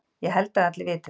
Ég held að allir viti það.